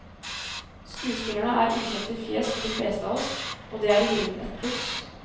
Skuespillerne er ukjente fjes for de fleste av oss, og det er i grunnen et pluss.